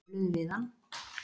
Töluðum við hann.